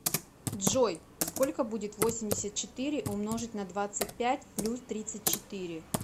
джой сколько будет восемьдесят четыре умножить на двадцать пять плюс тридцать четыре